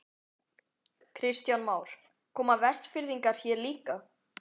Kristján Már: Koma Vestfirðingar hér líka?